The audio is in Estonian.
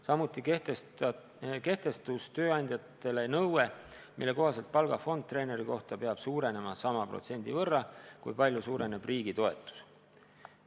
Samuti kehtestus tööandjatele nõue, mille kohaselt palgafond treeneri kohta peab suurenema sama protsendi võrra, kui palju suureneb riigi toetus.